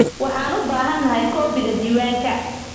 Waxaan u baahanahay koobiga diiwaanka